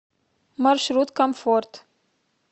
маршрут комфорт